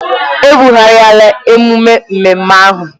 E bụghariala ememe ememme ahụ.